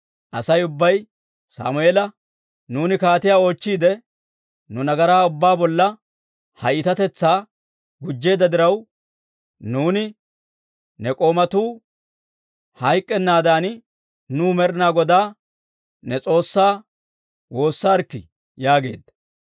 Asay ubbay Sammeela, «Nuuni kaatiyaa oochchiide, nu nagaraa ubbaa bolla ha iitatetsaa gujjeedda diraw, nuuni ne k'oomatuu hayk'k'ennaadan nuw Med'inaa Godaa ne S'oossaa woossarikkii» yaageedda.